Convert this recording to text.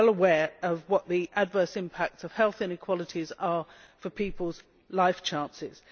We are well aware of what the adverse impacts of health inequalities are for people's life chances.